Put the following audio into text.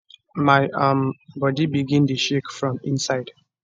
my um body begin dey shake from inside